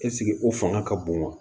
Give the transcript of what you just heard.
Ɛseke o fanga ka bon wa